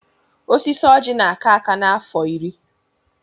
Osisi oji na-aka aka n'afọ iri.